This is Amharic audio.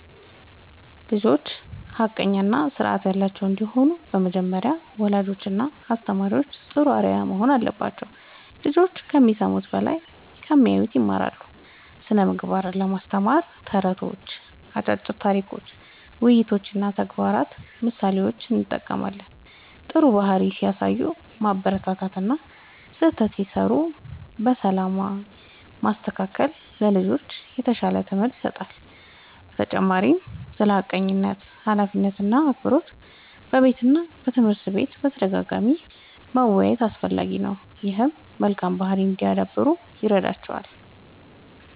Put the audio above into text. ልጆች ሐቀኛ እና ስርዓት ያላቸው እንዲሆኑ በመጀመሪያ ወላጆችና አስተማሪዎች ጥሩ አርአያ መሆን አለባቸው። ልጆች ከሚሰሙት በላይ ከሚያዩት ይማራሉ። ስነ ምግባርን ለማስተማር ተረቶች፣ አጫጭር ታሪኮች፣ ውይይቶች እና ተግባራዊ ምሳሌዎችን እጠቀማለሁ። ጥሩ ባህሪ ሲያሳዩ ማበረታታት እና ስህተት ሲሠሩ በሰላም ማስተካከል ለልጆች የተሻለ ትምህርት ይሰጣል። በተጨማሪም ስለ ሐቀኝነት፣ ኃላፊነት እና አክብሮት በቤትና በትምህርት ቤት በተደጋጋሚ መወያየት አስፈላጊ ነው። ይህም መልካም ባህሪ እንዲያዳብሩ ይረዳቸዋል።